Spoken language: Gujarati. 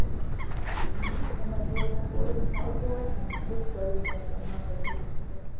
હં, એમાં જેને coding ફાવતું હોય ને, એ જ કરી શકે, એમાં પણ એવું છે.